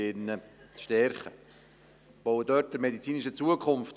Wir bauen dort an der medizinischen Zukunft.